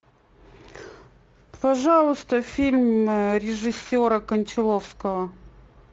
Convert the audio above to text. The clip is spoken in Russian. пожалуйста фильм режиссера кончаловского